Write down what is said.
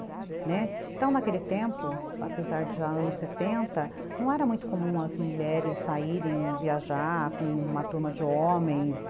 Né, então, naquele tempo, apesar de já anos setenta, não era muito comum as mulheres saírem viajar com uma turma de homens.